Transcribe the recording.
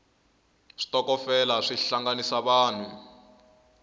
switokofela swi hlanganisa vanhu